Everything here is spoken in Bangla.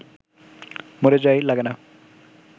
মরে যাই লাগে না